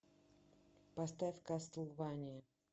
поставь кастлвания